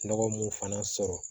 Nɔgɔ mun fana sɔrɔ